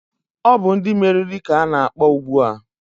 Ọ bụ ndị meriri ka ọ na-akpọ ugbua